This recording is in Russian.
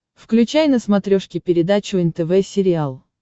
включай на смотрешке передачу нтв сериал